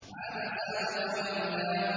عَبَسَ وَتَوَلَّىٰ